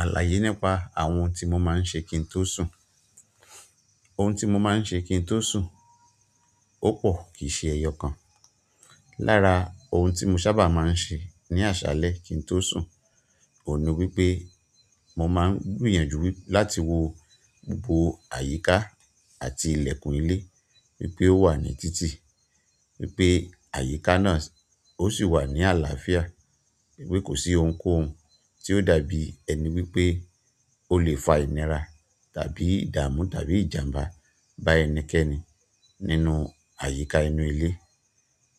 Àlàyé nípa àwọn ohun tí mo máa ń ṣe kí n tó sùn. Òun ti mo máa n ṣe ki n to sun o pọ kìí ṣe ẹ́yọkan lára oun ti mó ń ṣa bá máà ń ṣe ni aṣálẹ̀ ki tó sun ohùn ni wípé mo maan gbìyànjú láti wò gbogbo àyíká àti ilẹkùn ilé wípé ó wà ní títì, wípé àyíká náà ó sì wà ní àlàáfíà, wípé kò sí ohunkóhun tí ó dàbí ẹni wípé ó lè fa ìnira tàbí ìdààmú tàbí ìjàmbá bá ẹnikẹ́ni nínú àyíká inú ilé.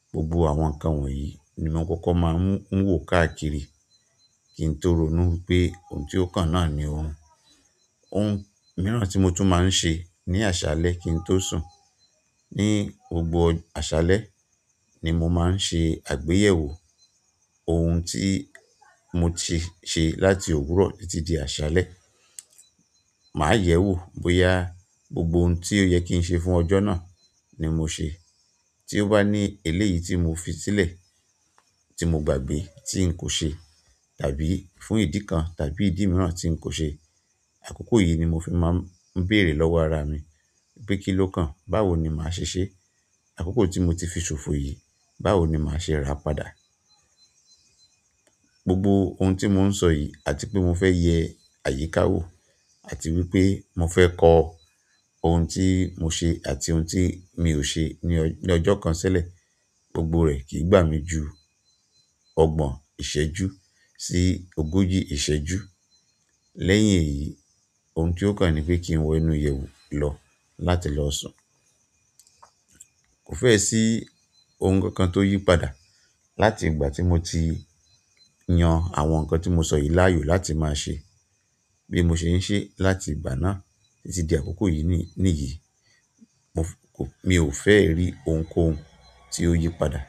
Gbogbo àwọn nǹkan wọ̀nyí ni mo kókó máa ń wò káàkiri kí n tó rònú wípé ohun tí ó kàn náà ni òrun. Ohun mìíràn tí mo tún máa ń ṣe ní àṣálẹ́ kí n tó sùn, ní gbogbo àṣálẹ́ ni mo máa ń ṣe àgbéyẹ̀wò ohun tí mo ti ṣe láti òwúrọ̀ títí di àṣálẹ́. Màá yẹ̀wò bóyá gbogbo ohun tí ó yẹ kí n ṣe fún ọjọ́ náà ni mo ṣe. Tí ó bá ní eléyìí tí mo fi sílẹ̀ tí mo gbàgbé tí n kò ṣe tàbí fún ìdí kan tàbí ìdí mìíràn tí n kò ṣe, àkókò yìí ni mo fi máa ń béèrè lọ́wọ́ ara mi pé kí ló kàn? Báwo ni màá ṣe ṣé? Àkókò tí mo ti fi ṣòfò yìí, báwo ni màá ṣe rà á padà? Gbogbo ohun tí mò ń sọ yìí àti pé mo fẹ́ yẹ àyíká wò àti wípé mo fẹ́ kọ ohun tí mo ṣe àti ohun tí mi ò ṣe ní ọjọ́ kan silẹ̀, gbogbo rẹ̀ kìí gbà mí ju ọgbọ̀n ìṣẹ́jú sí ogójì ìṣẹ́jú. Lẹ́yìn èyí, ohun tí ó kàn ni pé kí n wọ inú ìyẹ̀wù lọ láti lọ sùn. Kò fẹ́ sí ohun kan kan tó yí padà láti ìgbà tí mo ti yan àwọn nǹkan tí mo sọ yìí láàyò láti máa ṣe bí mo ṣe ń ṣe láti ìgbà náà títí di àkókò yìí nìyìí. Mi ò fẹ́ rí ohunkóhun tí ó yí padà.